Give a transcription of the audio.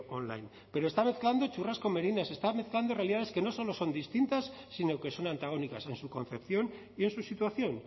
online pero está mezclando churras con merinas está mezclando realidades que no solo son distintas sino que son antagónicas a en su concepción y en su situación